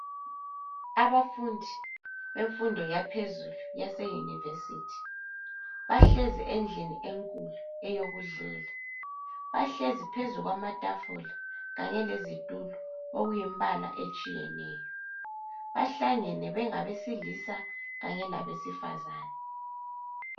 Abafundi bemfundo yaphezulu yaseyunivesithi bahlezi endlin enkulu eyokudlela, bahlezi phezu kwamatafula kanye lezitulo okuyimbala etshiyeneyo. Bahlangene bengabesilisa kanye labesifazana